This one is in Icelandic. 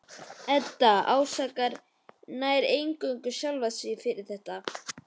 Edda ásakar nær eingöngu sjálfa sig fyrir þetta.